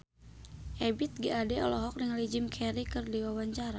Ebith G. Ade olohok ningali Jim Carey keur diwawancara